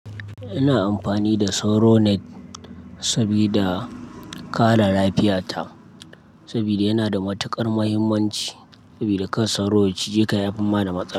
Ina amfani da Soro Net sabida kare lafiyata, sabida yana da matukar muhimmanci sabida kan soro ci je ka yafi ma da maza.